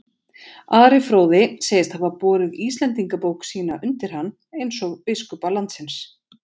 Ari fróði segist hafa borið Íslendingabók sína undir hann, eins og biskupa landsins.